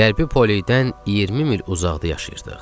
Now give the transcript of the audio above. Qərbi Poledən 20 mil uzaqda yaşayırdıq.